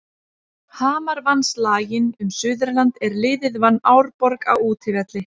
Hamar vann slaginn um Suðurland er liðið vann Árborg á útivelli.